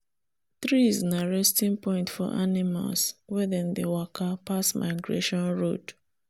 tress na resting point for animals wen them dey waka pass migration road.